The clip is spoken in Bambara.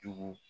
Jogo